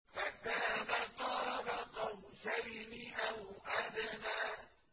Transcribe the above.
فَكَانَ قَابَ قَوْسَيْنِ أَوْ أَدْنَىٰ